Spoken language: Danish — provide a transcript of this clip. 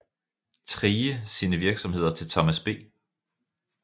Thrige sine virksomheder til Thomas B